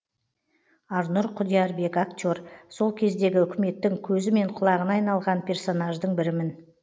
арнұр құдиярбек актер сол кездегі үкіметтің көзі мен құлағына айналған персонаждың бірімін